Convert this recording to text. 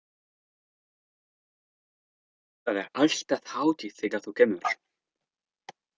Það er alltaf hátíð þegar þú kemur.